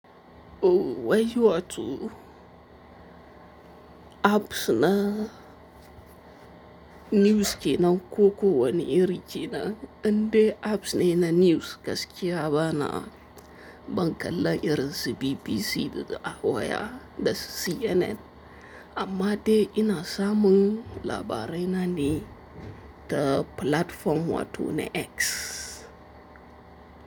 O wayi watu apps na news ke nan ko ko wani iri ke nan. Indai apps ne na news gaskiya bana, ban kallan irin su BBC da a waya da su CNN, amma dai ina samun labarai na ne ta platform wato ne X.